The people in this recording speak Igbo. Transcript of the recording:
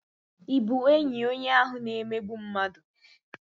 Ị bụ enyi onye ahụ na-emegbu mmadụ?